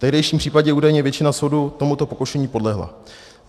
V tehdejším případě údajně většina soudu tomuto pokušení podlehla.